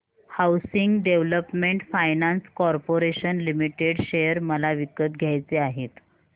housing development finance corporation limited share मला विकत घ्यायचे आहेत